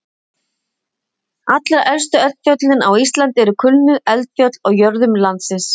Allra elstu eldfjöllin á Íslandi eru kulnuð eldfjöll á jöðrum landsins.